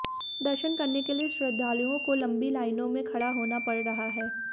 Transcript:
दर्शन करने के लिए श्रद्धालुओं को लंबी लाइनों में खड़ा होना पड़ रहा है